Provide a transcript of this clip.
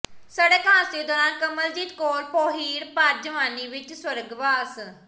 ਸੜਕ ਹਾਦਸੇ ਦੌਰਾਨ ਕਮਲਜੀਤ ਕੌਰ ਪੋਹੀੜ ਭਰ ਜਵਾਨੀ ਵਿਚ ਸਵਰਗਵਾਸ